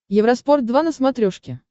евроспорт два на смотрешке